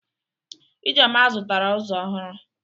Ijeoma zụtara ụzọ ọhụrụ.